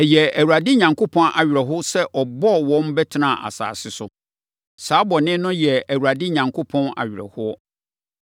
Ɛyɛɛ Awurade Onyankopɔn awerɛhoɔ sɛ ɔbɔɔ wɔn bɛtenaa asase so. Saa bɔne no yɛɛ Awurade Onyankopɔn awerɛhoɔ.